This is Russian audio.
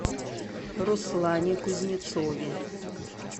руслане кузнецове